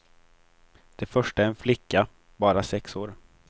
Det första är en flicka, bara sex år.